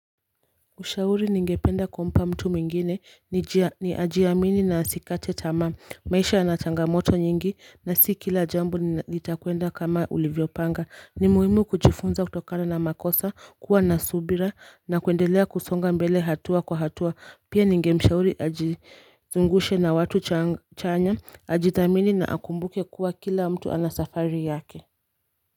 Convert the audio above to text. Ushauri ningependa kumpa mtu mwingine ni juu ya ni ajiamini na asikate tamaa maisha yana changamoto nyingi na si kila jambo litakwenda kama ulivyo panga ni muhimu kujifunza kutokana na makosa kuwa na subira na kuendelea kusonga mbele hatua kwa hatua pia ningemshauri ajizungushe na watu chanya ajithamini na akumbuke kuwa kila mtu ana safari yake.